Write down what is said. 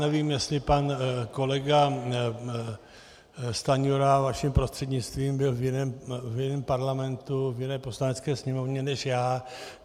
Nevím, jestli pan kolega Stanjura vaším prostřednictvím byl v jiném parlamentu, v jiné Poslanecké sněmovně než já.